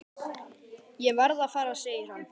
Ég verð að fara segir hann.